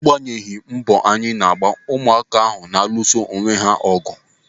Agbanyeghi mbọ anyị na-agba ụmụaka ahụ na-alụso onwe ha ọgụ.